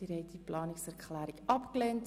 Sie haben die Planungserklärung 7 abgelehnt.